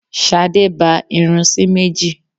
Ṣadé ba irun sí méjì.